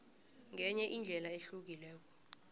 ngenye indlela ehlukileko